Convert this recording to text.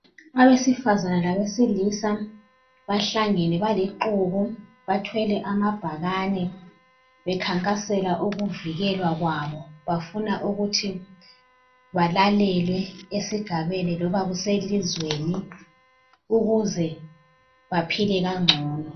Abesifazana labesilisa bahlengene balixuku bathwele amabhakane bekhankasela ukuvikelwa kwabo. Bafuna ukuthi balalelwe esigabeni loba kuselizweni ukuze baphile kangcono.